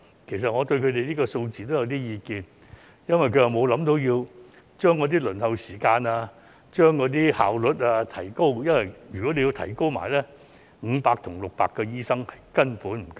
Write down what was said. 其實我對這個數字也有意見，因為他們沒有考慮縮短輪候時間和提高效率，否則500至600個醫生根本不足夠。